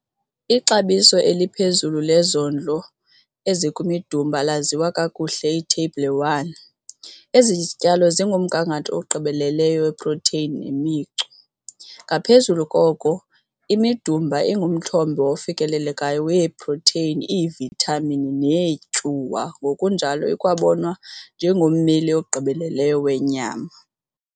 Ixabiso eliphezulu lezondlo ezikwimidumba laziwa kakuhle, Itheyibhile 1. Ezi zityalo zingumthombo ogqibeleleyo weprotheyini nemicu. Ngaphezu koko, imidumba ingumthombo ofikelelekayo weeprotheyini, iivithamin neetyuwa ngokunjalo ikwabonwa njengommeli ogqibeleleyo wenyama.